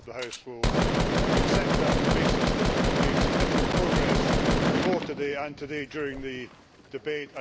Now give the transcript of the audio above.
I hope the House will accept that on the basis that we have made significant progress before today and today during the debate.